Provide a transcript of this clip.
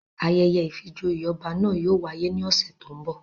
Ayẹyẹ ìfijoyé ọba na yóò wáyè ni ọsẹ to ńbo